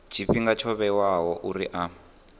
tshifhinga tsho vhewaho uri a